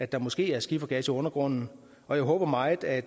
der måske er skifergas i undergrunden og jeg håber meget at